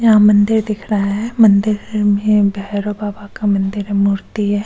यहां मंदिर दिख रहा है मंदिर में भैरव बाबा का मंदिर है मूर्ती है।